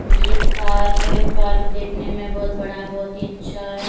एक पार्क है पार्क देखने में बहुत बड़ा बहुत ही अच्छा है।